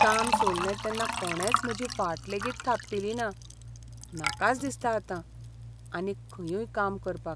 काम सोडलें तेन्ना कोणेच म्हजी फाट लेगीत थापटिली ना, नाकाच दिसता आतां आनीक खंयूय काम करपाक.